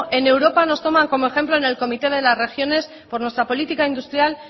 en europa nos toman como ejemplo en el comité de las regiones por nuestra política industrial